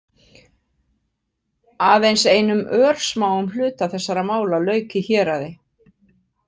Aðeins einum örsmáum hluta þessara mála lauk í héraði.